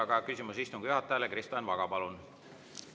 Aga küsimus istungi juhatajale, Kristo Enn Vaga, palun!